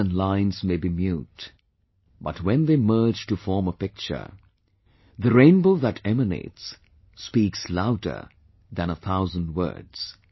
Colours & lines may be mute, but when they merge to form a picture, the rainbow that emanates speaks louder than a thousand words